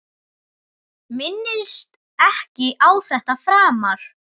Minnist ekki á þetta framar.